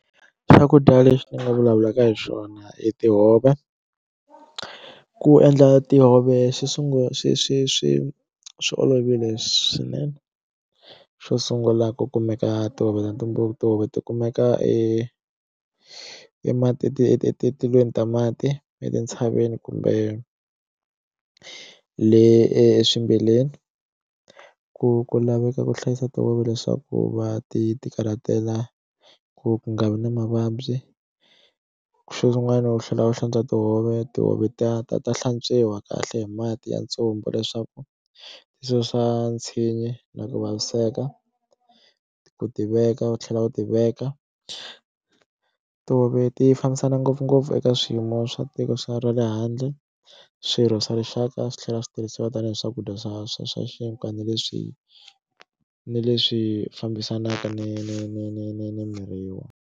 Swakudya leswi ni nga vulavulaka hi swona i tihove ku endla tihove xo sungula swi swi swi swi olovile swinene xo sungula ku kumeka tihove na timbuva tihove ti kumeka e ma ti ti ti etilweni ta mati etintshaveni kumbe le eswimbileni ku ku laveka ku hlayisa tihove leswaku va ti ti karhatela ku ku nga vi na mavabyi xin'wana u tlhela u hlantswa tihove tihove ta ta ta hlantswiwa kahle hi mati ya ntsumbu leswaku u susa tshinyi na ku vaviseka ku ti veka u tlhela u ti veka tihove ti fambisana ngopfungopfu eka swiyimo swa tiko xa ra le handle swirho swa rixaka swi tlhela swi tirhisiwa tanihi swakudya swa swa swa na leswi ni leswi fambisanaka ni ni ni ni ni ni .